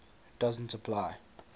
doesn t apply